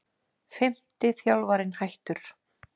Fimmti þjálfarinn hættur